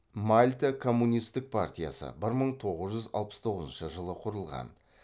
мальта коммунистік партиясы бір мың тоғыз жүз алпыс тоғызыншы жылы құрылған